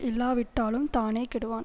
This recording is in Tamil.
இல்லாவிட்டாலும் தானே கெடுவான்